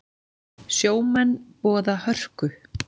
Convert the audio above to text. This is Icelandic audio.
Sjómenn boða hörku